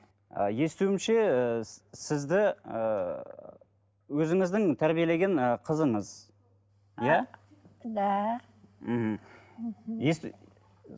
і естуімше і сізді ыыы өзіңіздің тәрбиелеген ы қызыңыз да мхм